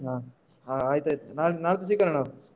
ಹಾ ಆಯ್ತಾಯ್ತು ನಾಳ್ದು ನಾಳ್ದು ಸಿಗೋಣ ನಾವು.